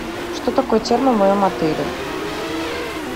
что такое термо в моем отеле